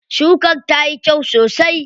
Shukar tayi kyau sosai.